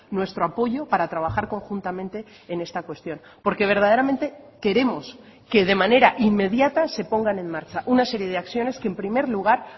nuestro apoyo para trabajar conjuntamente en esta cuestión porque verdaderamente queremos que de manera inmediata se pongan en marcha una serie de acciones que en primer lugar